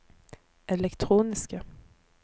elektroniske